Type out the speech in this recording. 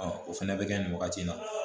o fɛnɛ bɛ kɛ nin wagati in na